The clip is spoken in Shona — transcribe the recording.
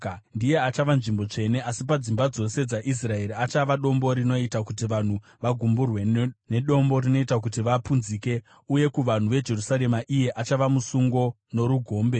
ndiye achava nzvimbo tsvene; asi padzimba dzose dzaIsraeri achava dombo rinoita kuti vanhu vagumburwe; nedombo rinoita kuti vapunzike. Uye kuvanhu veJerusarema iye achava musungo norugombe.